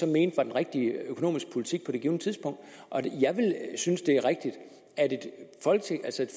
mente var den rigtige økonomiske politik på det givne tidspunkt jeg synes det er rigtigt at et